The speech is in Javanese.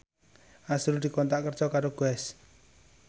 azrul dikontrak kerja karo Guess